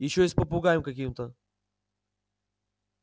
ещё и с попугаем каким-то